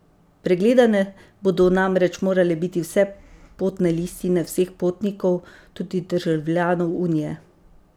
Pregledane bodo namreč morale biti vse potne listine vseh potnikov, tudi državljanov Unije.